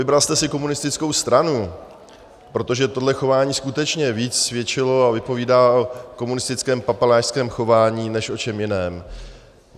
Vybral jste si komunistickou stranu, protože tohle chování skutečně víc svědčilo a vypovídá o komunistickém papalášském chování než o čem jiném.